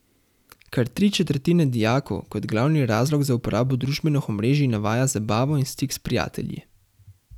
Kar tri četrtine dijakov kot glavni razlog za uporabo družbenih omrežij navaja zabavo in stik s prijatelji.